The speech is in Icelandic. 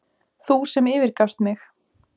Þú sem yfirgafst mig.